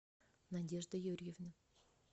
надежды юрьевны